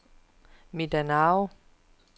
Mindanao